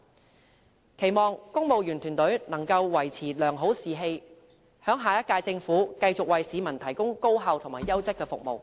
我期望公務員團隊能夠維持良好士氣，在下一屆政府繼續為市民提供高效和優質的服務。